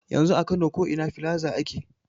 Yanzu a kano ko ina filaza ake.